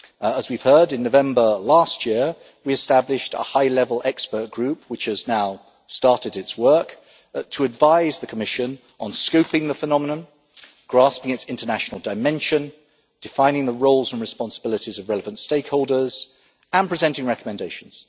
As we have heard, in November last year we established a high level expert group, which has now started its work to advise the Commission on scoping the phenomenon, grasping its international dimension, defining the roles and responsibilities of relevant stakeholders and presenting recommendations.